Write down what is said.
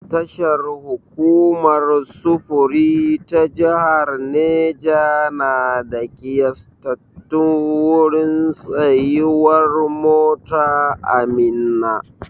Tashar hukumar sufuri ta jahar Neja na da ƙiyastattun wurin tsayuwar mota a Minna.